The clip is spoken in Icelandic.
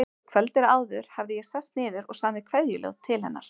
Kvöldið áður hafði ég sest niður og samið kveðjuljóð til hennar.